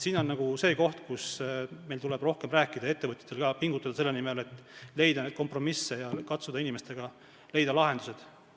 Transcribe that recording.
Siin on see koht, kus meil tuleb rohkem rääkida, ka ettevõtjatel, pingutada selle nimel, et leida kompromisse ja katsuda leida inimestele sobivad lahendused.